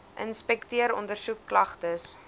inspekteer ondersoek klagtes